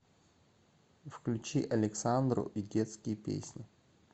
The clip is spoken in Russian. включи александру и детские песни